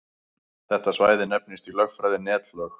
Þetta svæði nefnist í lögfræði netlög.